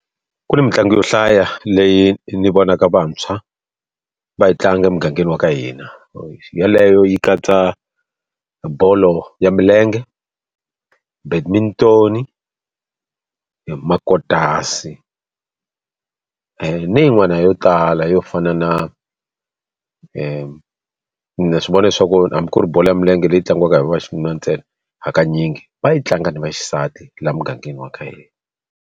Ku ni mitlangu yo hlaya leyi ni vonaka vantshwa va yi tlanga emugangeni wa ka hina. Yeleyo yi katsa bolo ya milenge, , makotasi na yin'wana yo tala yo fana na na swi vona leswaku hambi ku ri bolo ya milenge leyi tlangiwaka hi va vaxinuna ntsena hakanyingi va yi tlanga ni vaxisati laha mugangeni wa ka hina.